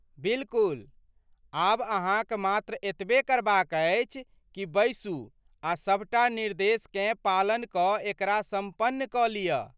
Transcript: बिलकुल! आब अहाँक मात्र एतबे करबाक अछि कि बैसू आ सभटा निर्देशकेँ पालन कऽ एकरा सम्पन्न कऽ लिअऽ।